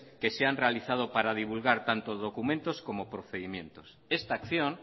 que se han realizado para divulgar tanto documentos como procedimientos esta acción